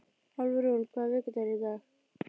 Álfrún, hvaða vikudagur er í dag?